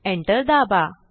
enter दाबा